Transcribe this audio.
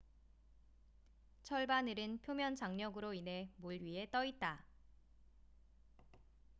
철바늘은 표면 장력으로 인해 물 위에 떠 있다